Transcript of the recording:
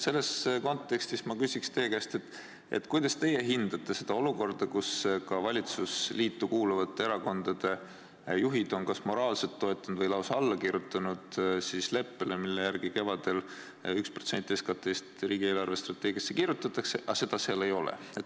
Selles kontekstis ma küsin teie käest, et kuidas teie hindate olukorda, kus ka valitsusliitu kuuluvate erakondade juhid on kas moraalselt toetanud või lausa alla kirjutanud leppele, mille järgi kevadel 1% SKT-st riigi eelarvestrateegiasse kirjutatakse, aga seda seal ei ole.